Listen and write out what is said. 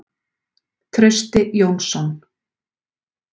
Trausti Jónsson.